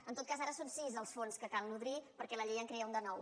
en tot cas ara són sis els fons que cal nodrir perquè la llei en crea un de nou